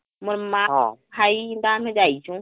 ହଁ ମୋର ମା ହା ଇନ୍ଟା ଆମେ ଯାଇଛୁ